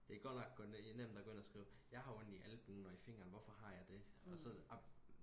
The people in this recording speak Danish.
det er godt nok nemt og gå ind og skrive jeg har ondt i albuen og i fingeren hvorfor har jeg det og så amen